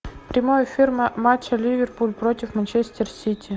прямой эфир матча ливерпуль против манчестер сити